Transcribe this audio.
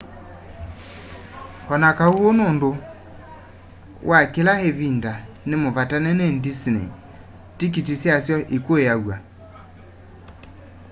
onakaũ ũũ nũndũ wa kĩla ĩvĩnda nĩ mũvatane nĩ dĩsney tĩkĩtĩ syasyo ĩkũĩaw'a